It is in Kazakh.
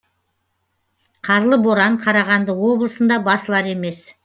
қарлы боран қарағанды облысында басылар емес